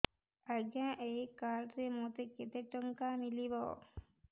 ଆଜ୍ଞା ଏଇ କାର୍ଡ ରେ ମୋତେ କେତେ ଟଙ୍କା ମିଳିବ